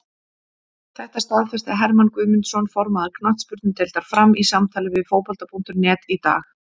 Þetta staðfesti Hermann Guðmundsson, formaður knattspyrnudeildar Fram, í samtali við Fótbolta.net í dag.